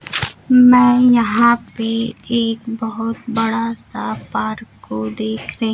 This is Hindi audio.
में यहां पे एक बहोत बड़ा सा पार्क को देख र--